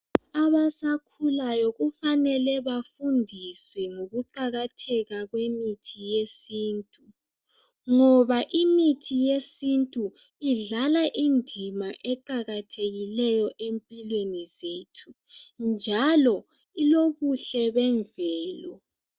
Abasakhulayo kufanele bafundiswe ngokuqakatheka kwemithi yesintu ngoba imithi yesintu idlala indima eqakathekileyo empilweni zethu njalo ilobuhle bemvelo.